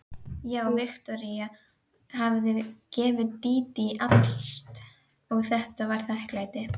Já, Viktoría hafði gefið Dídí allt og þetta var þakklætið.